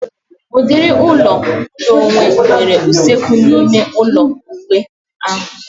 Udiri ụlọ ụlọ onwe nwere usekwu na ịme ụlọ iwu ahu